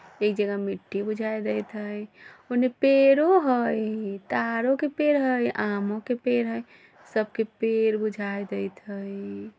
एक जगह मिट्टी बुझाए देत हई ओने पेड़ों हई ताड़ों के पेड़ हई आमों के पेड़ हई सब के पेड़ बुझाए देत हई।